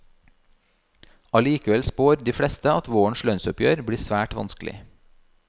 Allikevel spår de fleste at vårens lønnsoppgjør blir svært vanskelig.